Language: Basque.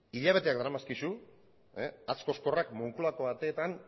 hilabeteak daramazkizu hatz kozkorrak moncloako ateetan